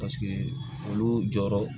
Paseke olu jɔyɔrɔ